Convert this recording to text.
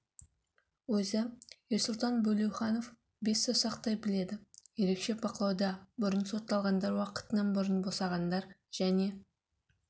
өзі ерсұлтан бөлеуханов бес саусақтай біледі ерекше бақылауда бұрын сотталғандар уақытынан бұрын босағандар және